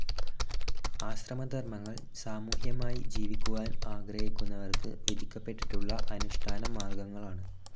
ആശ്രമധർമ്മങ്ങൾ സാമൂഹ്യമായി ജീവിക്കുവാൻ ആഗ്രഹിക്കുന്നവർക്ക് വിധിക്കപ്പെട്ടിട്ടുള്ള അനുഷ്ടാനമാർഗങ്ങളാണ്.